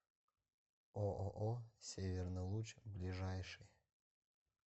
ооо северный луч ближайший